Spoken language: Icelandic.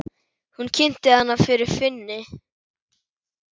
Hún kynnti hana fyrir Finni.